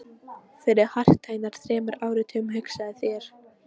Fyrir hartnær þremur áratugum, hugsaðu þér.